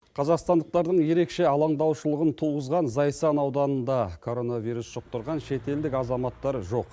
қазақстандықтардың ерекше алаңдаушылығын туғызған зайсан ауданында коронавирус жұқтырған шетелдік азаматтар жоқ